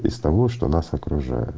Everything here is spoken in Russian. из того что нас окружает